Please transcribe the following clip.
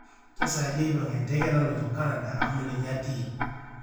kesaaja eipang e ndeke naloito Canada amu ninye atii